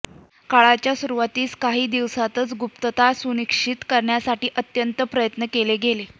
काळाच्या सुरुवातीस काही दिवसांतच गुप्तता सुनिश्चित करण्यासाठी अत्यंत प्रयत्न केले गेले